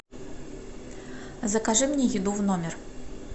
закажи мне еду в номер